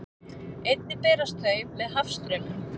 Einnig berast þau með hafstraumum.